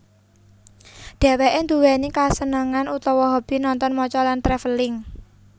Dhèwèké nduwèni kasenengan utawa hobi nonton maca lan travelling